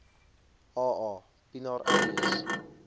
aa pienaar alias